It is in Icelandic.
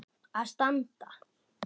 að standa.